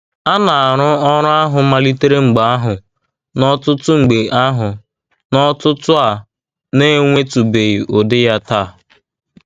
A na-arụ ọrụ ahụ malitere mgbe ahụ n'ọ̀tụ̀tụ̀ mgbe ahụ n'ọ̀tụ̀tụ̀ a na-enwetụbeghị ụdị ya taa.